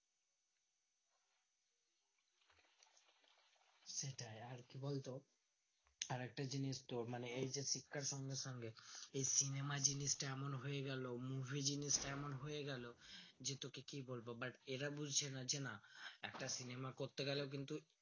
সেটাই আর কি বলতো এই একটা জিনিস তোর মানে এই যে শিক্ষার সঙ্গে সঙ্গে এই cinema জিনিসটা এমন হয়ে গেলো movie জিনিসটা এমন হয়েগেলো যে তোকে কি বলবো but এরা বুজছেনা যে না একটা cinema করতে গেলে কিন্তু